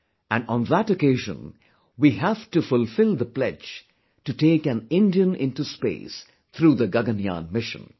And on that occasion, we have to fulfil the pledge to take an Indian into space through the Gaganyaan mission